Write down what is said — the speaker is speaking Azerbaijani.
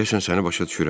Deyəsən səni başa düşürəm.